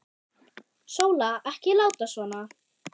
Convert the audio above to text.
Sóla, ekki láta svona.